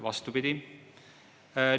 Vastupidi!